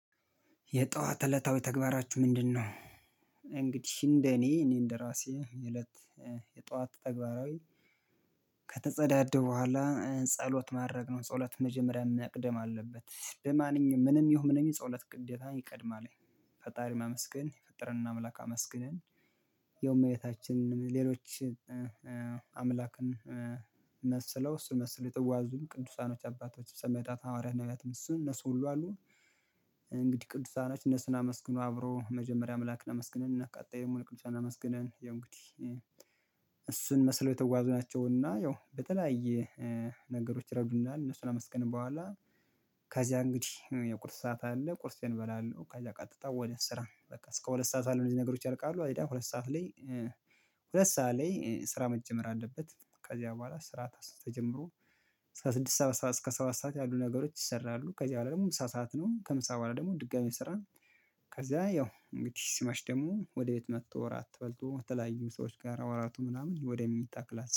የጧት እለታዊ ተግባራችሁ ምንድነው እንግዲህ እንደ እኔ እኔ እንደ ራሴ የእለት የጧት ተግባራዊ ከተጸዳዳሁ በኋላ ጸሎት ማድረግ ነው ጸሎት መጀመሪያ መቅደም አለበት በማንኛውም ምንም ይሁን ምንም ጸሎት ግዴታ ይቀድማል ፈጣሪ ማመስገን የፈጠረንን አምላክ አመስግነን ያው እመቤታችንንም ሌሎች አምላክን መስለው እሱን መስለው የተጓዙም ቅዱሳኖች አባቶች ሰማእታት ሐዋርያት ነበያትም እሱም እነሱ ሁሉ አሉ እንግዲህ ቅዱሳኖች እነሱን አመስግኖ አብሮ መጀመሪያ አምላክ አመስግነን እነ ቀጣይ ሙሉ ቅዱሳንን አመስግነን ያው እንግዲህ እሱን መስለው የተጓዙ ናቸው። እና ያው በተለያየ ነገሮች ይረዱናል። እነሱን ካመስገንን በኋላ ከዚያ እንግዲህ የቁርስ ሰዓት አለ። ቁርሴን እበላለሁ። ከዚያ ቀጥታ ወደ ስራ በቃ እስከ ሁለት ሰዓት ባለው እነዚህ ነገሮች ያልቃሉ። አይዳ ሁለት ሰዓት ላይ ሁለት ሰዓት ላይ ስራ መጀመር አለበት። ከዚያ በኋላ ስራ ተጀምሮ እስከ ስድስት ሰባት እስከ ሰባት ሰዓት ያሉ ነገሮች ይሰራሉ። ከዚህ በላይ ደግሞ ምሳ ሰዓት ነው። ከምሳ በኋላ ደግሞ ድጋሚ ስራን ከዛ ያው እንግዲህ ሲመሽ ደግሞ ወደ ቤት መጥቶ እራት በልቶ ከተለያዩ ሰዎች ጋር አወራርቶ ምናምን ወደ መኝታ ክላስ